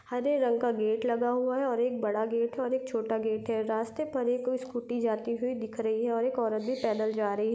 हरे रंग का गेट लगा हुआ है और एक बड़ा गेट है और एक छोटा गेट है रास्ते पर एक स्कूटी जाती हुई दिख रही है और एक औरत भी पैदल जा रही है।